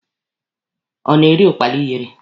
Ọ na-eri ụkpala ịyere.